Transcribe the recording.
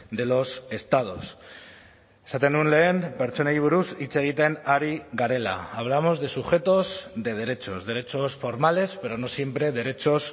de los estados esaten nuen lehen pertsonei buruz hitz egiten ari garela hablamos de sujetos de derechos derechos formales pero no siempre derechos